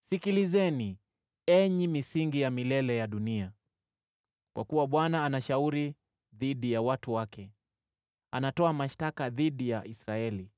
sikilizeni, enyi misingi ya milele ya dunia. Kwa kuwa Bwana ana shauri dhidi ya watu wake; anatoa mashtaka dhidi ya Israeli.